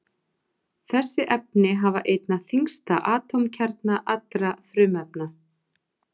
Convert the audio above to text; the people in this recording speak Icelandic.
Þessi efni hafa einna þyngsta atómkjarna allra frumefna.